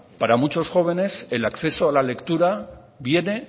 para muchos jóvenes el acceso a la lectura viene